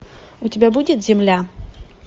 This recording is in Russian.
у тебя будет земля